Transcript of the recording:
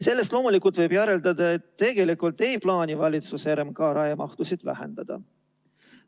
Sellest võib loomulikult järeldada, et tegelikult ei plaani valitsus RMK raiemahtusid vähendada.